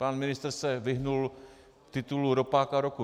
Pan ministr se vyhnul titulu Ropáka roku.